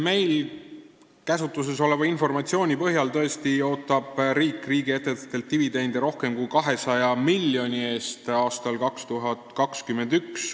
Meie käsutuses oleva informatsiooni põhjal ootab riik riigiettevõtetelt aastal 2021 tõesti dividende rohkem kui 200 miljoni eest.